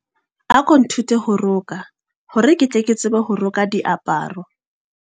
Ako nthute ho roka hore ke tle ke tsebe ho roka diaparo.